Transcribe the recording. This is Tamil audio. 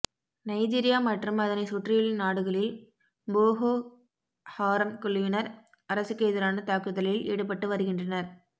நைஜீரியா மற்றும் அதனை சுற்றியுள்ள நாடுகளில் போகோஹாரம் குழுவினர் அரசுக்கு எதிரான தாக்குதலில் ஈடுபட்டு வருகின்றனர்